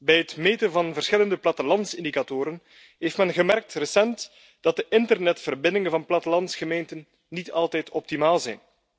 Bij het meten van verschillende plattelandsindicatoren heeft men recent gemerkt dat de internetverbindingen van plattelandsgemeenten niet altijd optimaal zijn.